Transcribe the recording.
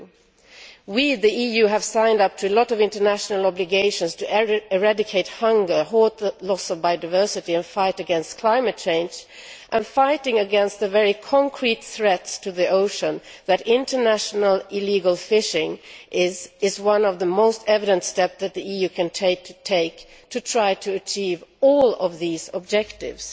2 We, the EU, have signed up to a lot of international obligations to eradicate hunger, halt the loss of biodiversity and fight against climate change and fighting against the very concrete threats to the ocean that international illegal fishing represents is one of the most evident steps that the EU can take to try to achieve all of these objectives.